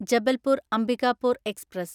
Jabalpur Ambikapur express